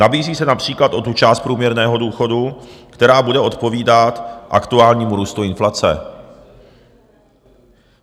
Nabízí se například o tu část průměrného důchodu, která bude odpovídat aktuálnímu růstu inflace.